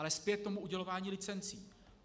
Ale zpět k udělování licencí.